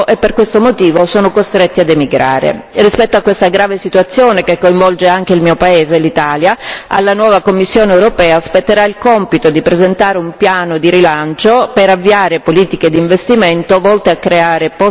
Rispetto a questa grave situazione che coinvolge anche il mio paese, l'Italia, alla nuova Commissione europea, spetterà il compito di presentare un piano di rilancio per avviare politiche di investimento volte a creare posti di lavoro e a stabilizzare l'occupazione.